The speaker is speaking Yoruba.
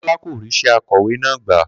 Kó̩lá kò rís̩é̩ akò̩wé náà gbà